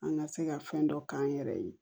An ka se ka fɛn dɔ k'an yɛrɛ ye